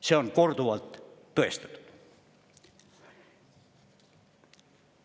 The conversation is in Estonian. See on korduvalt tõestatud.